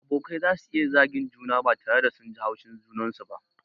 Abokai zasu iya zagin juna ba tare da sun ji haushin junansu ba.